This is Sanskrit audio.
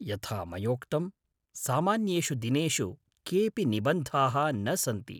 यथा मयोक्तं, सामान्येषु दिनेषु केऽपि निबन्धाः न सन्ति।